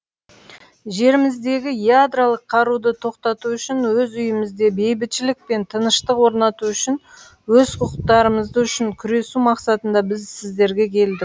жеріміздегі ядролық қаруды тоқтату үшін өз үйімізде бейбітшілік пен тыныштық орнату үшін өз құқықтарымыз үшін күресу мақсатында біз сіздерге келдік